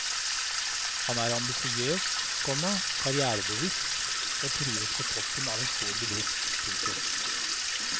Han er ambisiøs, komma karrièrebevisst og trives på toppen av en stor bedrift. punktum